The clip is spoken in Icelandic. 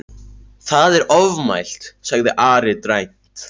Það er ofmælt, sagði Ari dræmt.